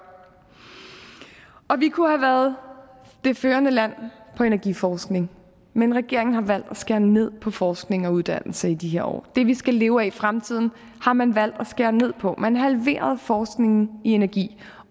og vi kunne have været det førende lang på energiforskning men regeringen har valgt at skære ned på forskning og uddannelse i de her år det vi skal leve af i fremtiden har man valgt at skære ned på man halverede forskningen i energi